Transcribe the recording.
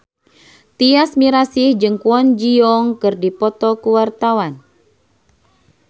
Tyas Mirasih jeung Kwon Ji Yong keur dipoto ku wartawan